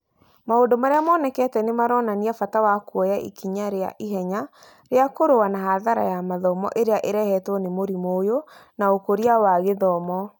Maũndũ marĩa monekete nĩ maronania bata wa kuoya ikinya rĩa ihenya rĩa kũrũa na hathara ya mathomo ĩrĩa ĩrehetwo nĩ mũrimũ ũyũ na ũkũria wa gĩthomo.